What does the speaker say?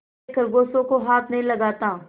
मैं खरगोशों को हाथ नहीं लगाता